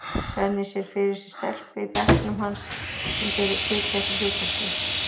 Svenni sér fyrir sér stelpu í bekknum hans sem gæti tekið að sér hlutverkið.